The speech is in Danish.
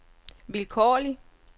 vilkårlig